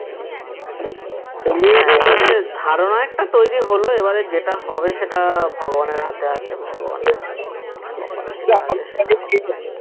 ধারণা একটা তৈরী হলো এবারে যেটা হবে সেটা ভগবানের হাতে আছে ভগবানের খবর কপালে যেটা আছে সেটাই হবে